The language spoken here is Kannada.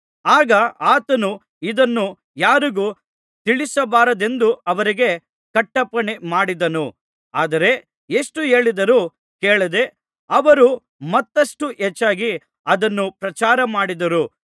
ಆಗ ಆತನು ಇದನ್ನು ಯಾರಿಗೂ ತಿಳಿಸಬಾರದೆಂದು ಅವರಿಗೆ ಕಟ್ಟಪ್ಪಣೆ ಮಾಡಿದನು ಆದರೆ ಎಷ್ಟು ಹೇಳಿದರೂ ಕೇಳದೆ ಅವರು ಮತ್ತಷ್ಟು ಹೆಚ್ಚಾಗಿ ಅದನ್ನು ಪ್ರಚಾರ ಮಾಡಿದರು